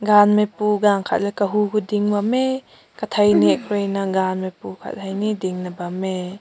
gam na pu gangat la kagu koi ding bam meh katai nenk gan pu gangat ne ding na bam meh.